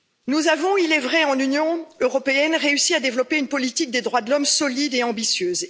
Nous avons, il est vrai, dans l'Union européenne, réussi à développer une politique des droits de l'homme solide et ambitieuse.